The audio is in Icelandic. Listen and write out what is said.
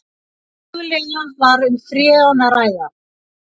Mögulega var um freon að ræða